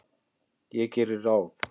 Ég geri ráð